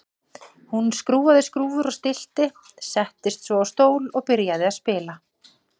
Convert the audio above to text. Hún skrúfaði skrúfur og stillti, settist svo á stól og byrjaði að spila.